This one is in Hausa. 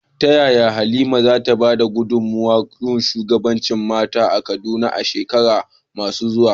Ta yaya Halima za ta ba da gudunmawa ga shugabancin mata a Kaduna a shekaru masu zuwa?